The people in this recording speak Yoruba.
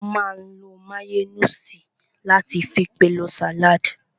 Wọ́n máa n lo máyóníìsì láti fi pèlò sàládì